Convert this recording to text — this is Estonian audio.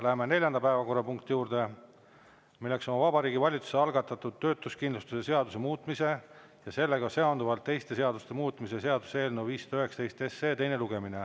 Läheme neljanda päevakorrapunkti juurde, milleks on Vabariigi Valitsuse algatatud töötuskindlustuse seaduse muutmise ja sellega seonduvalt teiste seaduste muutmise seaduse eelnõu 519 teine lugemine.